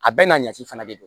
A bɛɛ n'a ɲaci fana de don